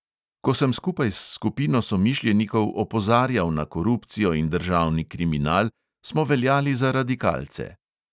Ko sem skupaj s skupino somišljenikov opozarjal na korupcijo in državni kriminal, smo veljali za radikalce.